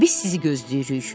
Biz sizi gözləyirik.